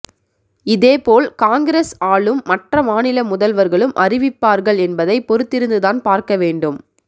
இதேபோல் காங்கிரஸ் ஆளும் மற்ற மாநில முதல்வர்களும் அறிவிப்பார்கள் என்பதை பொறுத்திருந்துதான் பார்க்க வேண்டும்